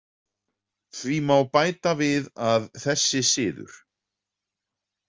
Því má bæta við að þessi siður.